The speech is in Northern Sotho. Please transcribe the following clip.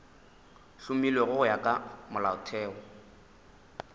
hlomilwego go ya ka molaotheo